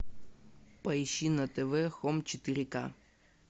поищи на тв хом четыре ка